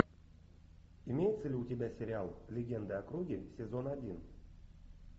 имеется ли у тебя сериал легенды о круге сезон один